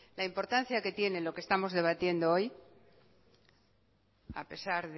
la importancia que tiene lo que estamos debatiendo hoy a pesar